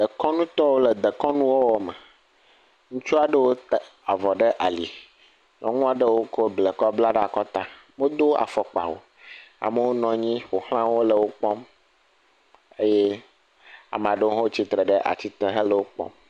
Dekɔnutɔwo le dekɔnuwɔwɔ me, ŋutsu aɖewo ta avɔ ɖe aki, nyɔnu aɖewo kɔ avɔ kɔ ta ɖe akɔta, womedo afɔkpa o, amewo nɔ anyi ƒo xla wo le wo kpɔm eye ame aɖewo hã tsi tre ɖe ati te hele wo kpɔm.